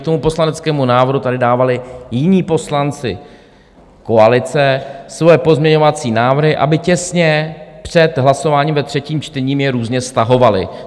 K tomu poslaneckému návrhu tady dávali jiní poslanci koalice svoje pozměňovací návrhy, aby těsně před hlasováním ve třetím čtení je různě stahovali.